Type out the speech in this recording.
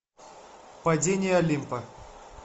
падение олимпа